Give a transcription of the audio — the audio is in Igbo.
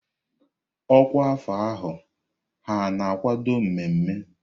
Ọkwa afọ ahụ ha akwado mmemme?